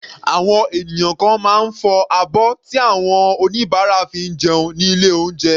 Àwọn ènìyàn kan máa ń fọ abọ́ tí àwọn oníbàárà fi jẹun ní ilé oúnjẹ.